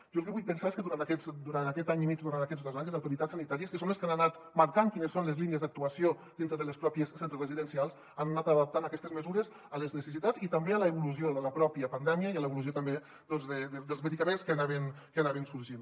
jo el que vull pensar és que durant aquest any i mig durant aquests dos anys les autoritats sanitàries que són les que han anat marcant quines són les línies d’actuació dintre dels propis centres residencials han anat adaptant aquestes mesures a les necessitats i també a l’evolució de la pròpia pandèmia i a l’evolució també doncs dels medicaments que anaven sorgint